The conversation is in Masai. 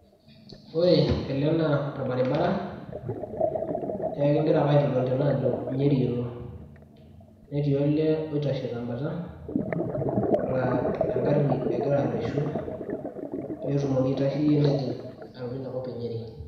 ore ele naa orbaribara naa ekingira ake aitol tene ajo nyeri elo, netii olee oitashe tebata laa egari egira areshu pee etumoki aitasheyie nejing' alo inakop enyeri.